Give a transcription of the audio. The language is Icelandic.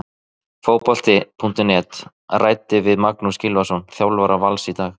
Fótbolti.net ræddi við Magnús Gylfason, þjálfara Vals, í dag.